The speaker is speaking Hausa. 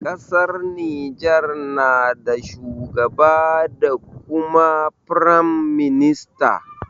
Ƙasar Niger na da shugaba da kuma firam minista.